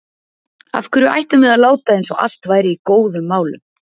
Af hverju ættum við að láta eins og allt væri í góðum málum?